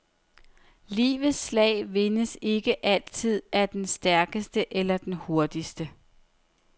Livets slag vindes ikke altid af den stærkeste eller hurtigste.